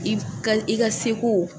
F'i ka i ka se ko